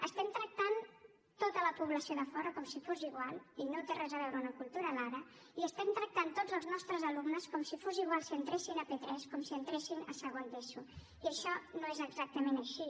estem tractant tota la població de fora com si fos igual i no té res a veure amb la cultura d’ara i estem tractant tots els nostres alumnes com si fos igual que entressin a p3 o que entressin a segon d’eso i això no és exactament així